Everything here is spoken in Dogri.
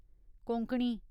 कोंकणी